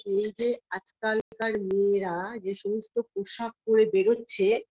এই যে আজকালকার মেয়েরা যে সমস্ত পোশাক পরে বেরোচ্ছে